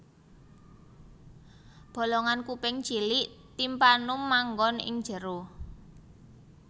Bolongan kuping cilik timpanum manggon ing njero